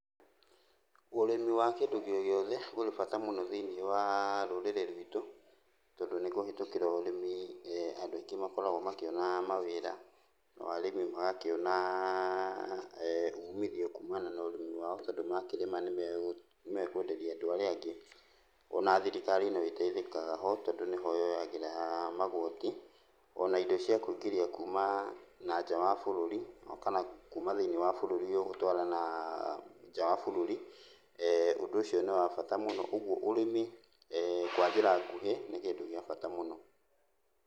Ũrĩmi wa kĩndũ o gĩothe ũrĩ bata mũno thĩiniĩ wa rũrĩrĩ rwitũ, tondũ nĩkũhĩtũkĩra ũrĩmi andũ aingĩ makoragwo makĩona mawĩra, nao arĩmi magakĩona umithio kumana na ũrĩmi wao tondũ makĩrĩma nĩmekwenderia andũ arĩa angĩ. Ona thirikari no ĩteithĩkaga ho tondũ nĩho yoyagĩra magoti ona indo cia kũingĩria kuma na nja wa bũrũri o kana kuma thĩiniĩ wa bũrũri ũyũ gũtwara nanja wa bũrũri. ũndũ ũcio nĩ wa bata mũno, ũguo ũrimi kwa njĩra nguhĩ nĩ kĩndũ gĩa bata mũno.